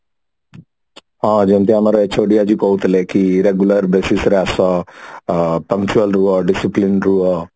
ହଁ ଯେମତି ଆମର ଆଜି ଅଛି ଏଠି କହୁଥିଲେ କି regular basis ରେ ଆସ ଅ punctual ରୁହ discipline ରୁହ